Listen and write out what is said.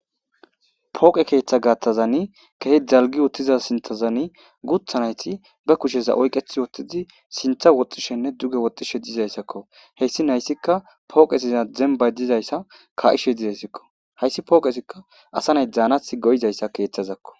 pooqe keeththa gaatthazani kehi dalgi uttiza sinthazani gutha nayti be kusheza oyqeth wotidi sintha woxxishenne duge woxxishe dizayssakko heyssi nayssikka pooqesiza zembay dizayssa ka7ishe dizayssikko hayssi pooqesikka asa nay daanasi go'izayssa keeththazakko